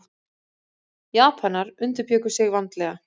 Japanar undirbjuggu sig vandlega.